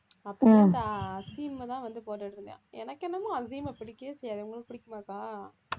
அப்புறம் இந்த அசீம் தான் வந்து போட்டுட்டு இருந்தான் எனக்கு என்னமோ அசீமை பிடிக்கவே செய்யாது, உங்களுக்கு பிடிக்குமாக்கா